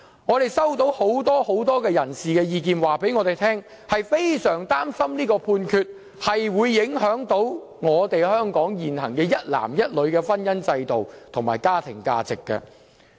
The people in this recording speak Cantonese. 我們收到很多人士的意見，表示他們非常擔心這項判決會影響香港現行一男一女的婚姻制度及家庭價值。